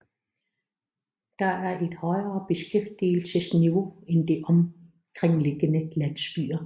Der er et højere beskæftigelsesniveau end i de omkringliggende landsbyer